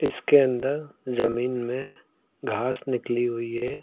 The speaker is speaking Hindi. इसके अंदर जमीन में घास निकली हुई है।